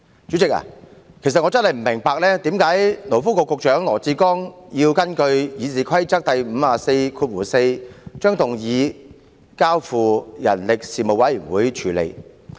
主席，我實在不明白，為何勞工及福利局局長羅致光要根據《議事規則》第544條，建議將議案交付人力事務委員會處理。